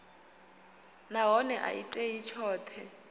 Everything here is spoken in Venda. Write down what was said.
nahone a i tei tshoṱhe